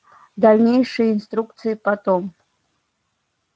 дальнейшие инструкции потом